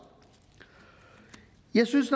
jeg synes